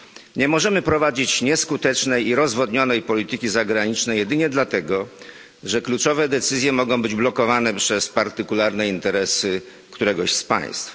Nie możemy prowadzić nieskutecznej i rozwodnionej polityki zagranicznej jedynie dlatego, że kluczowe decyzje mogą być blokowane przez partykularne interesy któregoś z państw.